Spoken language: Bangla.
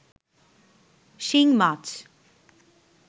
শিং মাছ